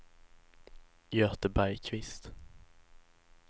Göte Bergkvist